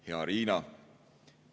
Hea Riina!